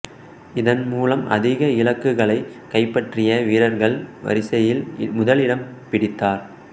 இதன்மூலம் அதிக இலக்குகளைக் கைப்பற்றிய வீரர்கள் வரிசையில் முதல் இடம் பிடித்தார்